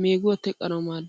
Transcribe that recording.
meeguwaa teqqanawu maaddees.